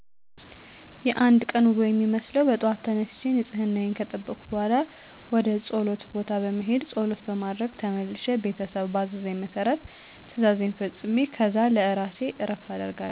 የአንድ ቀን ውሎ የሚመስለው በጠዋት ተነስቸ ንፅህናየን ከጠበኩ በኋላ ወደ ፆለት ቦታ በመሄድ ፆለት በማድረስ ተመልሸ ቤተሰብ ባዘዘኝ መሰረት ትእዛዜን ፈፅሜ ከዛ ለእራሴ እረፍት አደርጋለው።